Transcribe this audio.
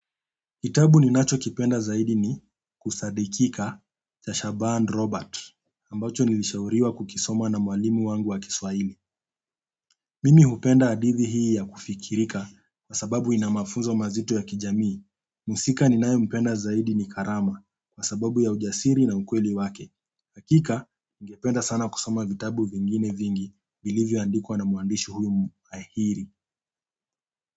Kitabu ninachokipenda zaidi ni kusadidkika cha Shaaban Robert ambacho nilishauriwa kukisoma na mwalimu wangu wa kiswahili mimi hupenda hadithi hii ya kufikirika, kwa sababu ina mafunzo mazito ya kijamii. Muhusika ninayempenda zaidi ni karama, kwa sababu ya ujasiri na ukweli wake. Hakika, ningependa sana kusoma vitabu vingine vingi, vilivyo andikwa na mwandishi huyu muahiri.